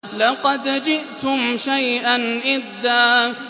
لَّقَدْ جِئْتُمْ شَيْئًا إِدًّا